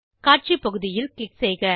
காட்சி பகுதியில் க்ளிக் செய்க